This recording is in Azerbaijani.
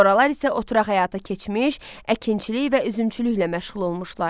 Sonralar isə oturaq həyata keçmiş, əkinçilik və üzümçülüklə məşğul olmuşlar.